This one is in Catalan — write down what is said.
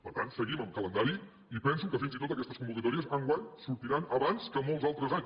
per tant seguim en calendari i penso que fins i tot aquestes convocatòries enguany sortiran abans que molts altres anys